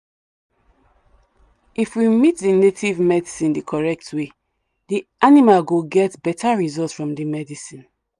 if we mix the native medicine the correct way the animal go get better result from the medicine.